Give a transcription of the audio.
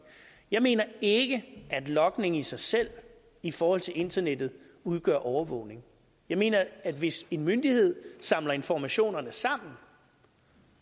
jeg mener ikke at logning i sig selv i forhold til internettet udgør overvågning jeg mener at hvis en myndighed samler informationerne sammen